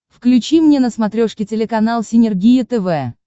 включи мне на смотрешке телеканал синергия тв